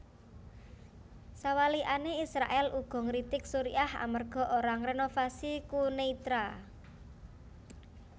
Sawalikané Israèl uga ngritik Suriah amerga ora ngrénovasi Quneitra